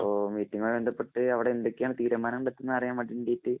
മീറ്റിങ്ങുമായി ബന്ധപ്പെട്ട് അവിടെ എന്തൊക്കെയാണ് തീരുമാനം എടുത്തു എന്നറിയാന്‍ വേണ്ടീട്ടു